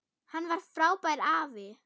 Hann var frábær afi.